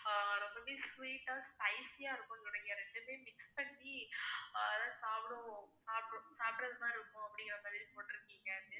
ரொம்பவே sweet ஆ spicy ஆ இருக்குனு நினைக்கறேன், ரெண்டுமே mix பண்ணி அதெல்லாம் சாப்பிடுவோம், சாப்பிடுற மாதிரி இருக்கும் அப்படிங்கற மாதிரி போட்டுருக்கீங்க